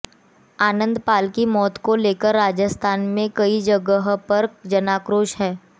आनंदपाल की मौत को लेकर राजस्थान में कई जगहों पर जनाक्रोश है